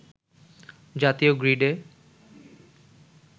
জাতীয় গ্রিডে